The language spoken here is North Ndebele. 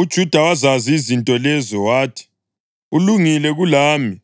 UJuda wazazi izinto lezo wathi, “Ulungile kulami,